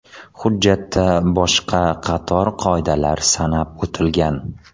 Hujjatda boshqa qator qoidalar sanab o‘tilgan.